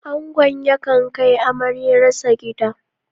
Angon yakan kai amaryarsa gida.